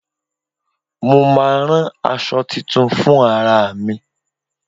Mo máa rán àṣọ tuntun fún ara mi.